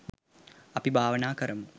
අපි භාවනා කරමු